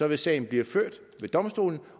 vil sagen blive ført ved domstolen